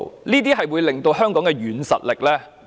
這些均可增加香港的軟實力。